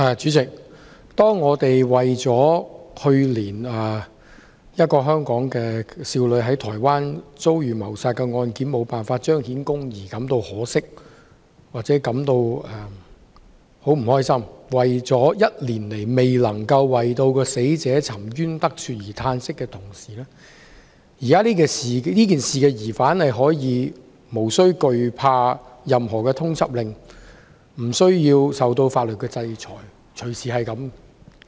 主席，當我們為了去年一名香港少女在台灣遭遇謀殺的案件無法彰顯公義感到可惜或不快，為了1年來也未能讓死者沉冤得雪而嘆息的同時，這件事的疑犯可以無需懼怕任何通緝令，無需受到法律制裁。